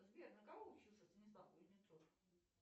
сбер на кого учился станислав кузнецов